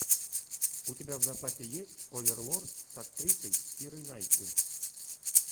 у тебя в запасе есть оверлорд с актрисой кирой найтли